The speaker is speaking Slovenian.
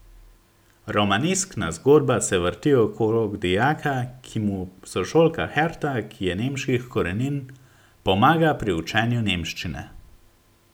Romaneskna zgodba se vrti okrog dijaka, ki mu sošolka Herta, ki je nemških korenin, pomaga pri učenju nemščine.